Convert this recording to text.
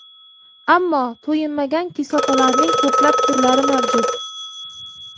Ammo to‘yinmagan kislotalarning ko‘plab turlari mavjud.